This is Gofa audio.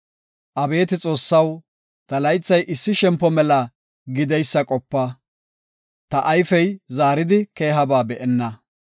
Abeeti Xoossaw, ta laythay issi shempo mela gideysa qopa! Ta ayfey zaaridi keehaba be7enna.